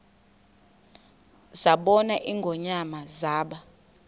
zabona ingonyama zaba